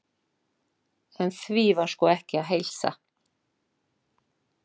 En því var sko ekki að heilsa.